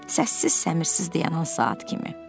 Səssiz səmirsiz dayanan saat kimi.